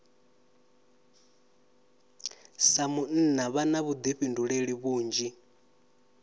sa munna vha na vhuḓifhinduleli vhunzhi